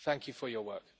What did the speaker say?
Thank you for your work.